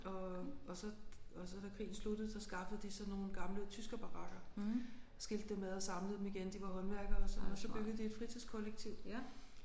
Og og så og så da krigen sluttede så skaffede de så nogle gamle tyskerbarakker skilte dem ad og samlede dem igen de var håndværkere så og så byggede de et fritidskollektiv